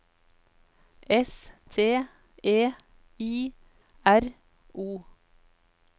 S T E I R O